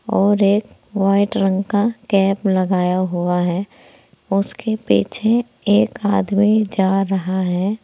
और एक वाइट रंग का कैप लगाया हुआ है उसके पीछे एक आदमी जा रहा है।